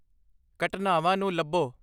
ਘਟਨਾਵਾਂ ਨੂੰ ਲੱਭੋ